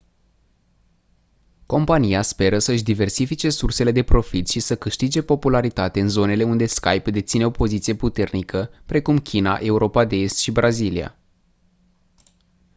compania speră să-și diversifice sursele de profit și să câștige popularitate în zonele unde skype deține o poziție puternică precum china europa de est și brazilia